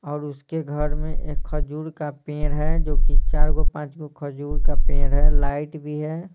और उसके घर में एक खजूर का पेड़ है जो कि चारगो-पाँचगो खजूर का पेड़ है लाइट भी है।